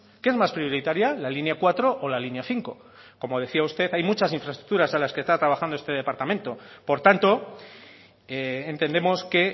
qué es más prioritaria la línea cuatro o la línea cinco como decía usted hay muchas infraestructuras a las que está trabajando este departamento por tanto entendemos que